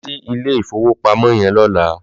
Lò sí ilé ifówópámò yèn lòlá